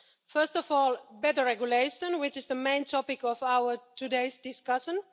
First of all, better regulation, which is the main topic of today's discussion.